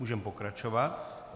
Můžeme pokračovat.